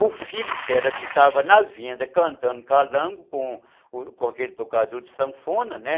O filho dela ficava na venda cantando calango com aquele tocador de sanfona, né?